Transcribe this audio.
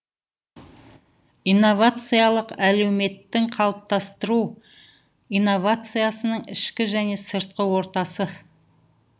инновациялық әлеуметтің қалыптастыру инновациясының ішкі және сыртқы ортасы